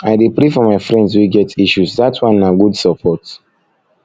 i dey pray for my friends wey get issues dat one na good support